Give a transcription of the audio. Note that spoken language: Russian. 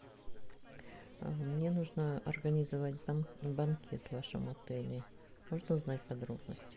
мне нужно организовать банкет в вашем отеле можно узнать подробности